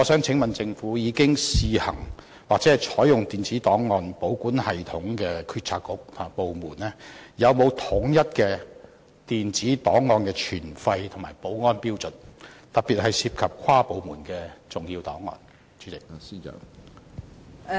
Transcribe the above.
請問政府，已經試行或採用電子檔案保管系統的政策局和部門有否統一的電子檔案存廢和保安標準，特別是涉及跨部門的重要檔案？